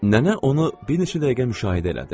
Nənə onu bir neçə dəqiqə müşahidə elədi.